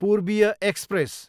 पूर्बीय express